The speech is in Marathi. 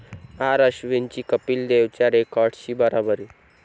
आर.अश्विनची कपिल देवच्या रेकॉर्डशी बरोबरी